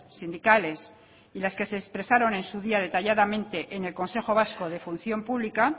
sindicales y las que se expresaron en su día detalladamente en el consejo vasco de función pública